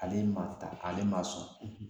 Ale ma taa ale ma sɔn